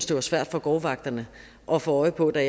det var svært for gårdvagterne at få øje på det